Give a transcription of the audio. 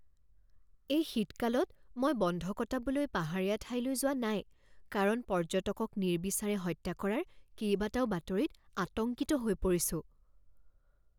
এই শীতকালত মই বন্ধ কটাবলৈ পাহাৰীয়া ঠাইলৈ যোৱা নাই কাৰণ পৰ্যটকক নিৰ্বিচাৰে হত্যা কৰাৰ কেইবাটাও বাতৰিত আতংকিত হৈ পৰিছো।